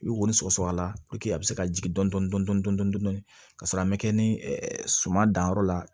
I bɛ wo sɔgɔsɔgɔ la a bɛ se ka jigin dɔɔnin dɔɔnin ka sɔrɔ a ma kɛ ni suman danyɔrɔ la